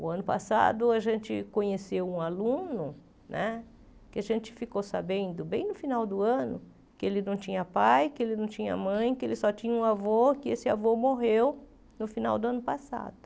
O ano passado a gente conheceu um aluno né, que a gente ficou sabendo bem no final do ano, que ele não tinha pai, que ele não tinha mãe, que ele só tinha um avô, que esse avô morreu no final do ano passado.